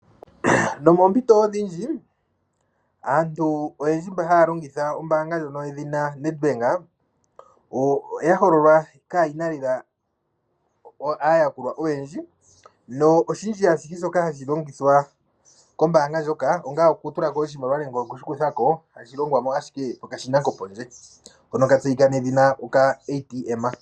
Nomoompito odhindji, aantu oyendji mboka haya longitha ombanga yedhina Ned Bank. Oya hololwa kayina lela ayakulwa oyendji, noshindji shoka hashi longithwa kombanga ndjoka onga oku tulako oshimaliwa nenge okushi kuthako, hashi longwamo ashike koka shina koopondje hono ka tseyika nedhina ATM.